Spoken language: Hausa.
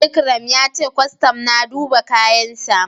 Ikram ya ce kwastam na duba kayansa.